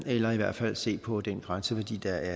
eller i hvert fald se på den grænseværdi der